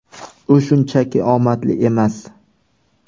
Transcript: U shunchaki omadli emas.